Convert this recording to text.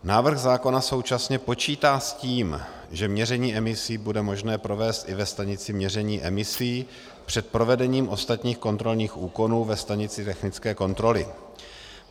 Návrh zákona současně počítá s tím, že měření emisí bude možné provést i ve stanici měření emisí před provedením ostatních kontrolních úkonů ve stanici technické kontroly.